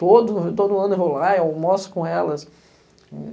Todo todo ano eu vou lá e almoço com elas.